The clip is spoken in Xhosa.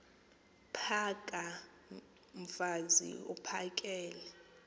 phaka mfaz uphakele